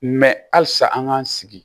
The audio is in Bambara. halisa an k'an sigi